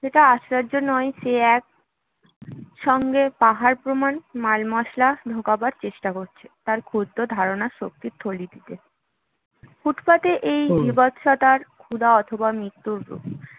সেটা আশ্চর্য নয় সে এক সঙ্গে পাহাড় প্রমাণ মালমশলা ঢোকাবার চেষ্টা করছে তার ক্ষুদ্র ধারণা শক্তির গলিটিতে ফুটপাথের এই বীভৎসতা ক্ষুধা অথবা মৃত্যুর রূপ